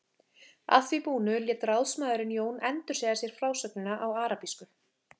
Að því búnu lét ráðsmaðurinn Jón endursegja sér frásögnina á arabísku.